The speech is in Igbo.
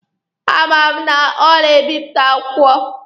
A ma m na ọ na-ebịpụta akwụkwọ.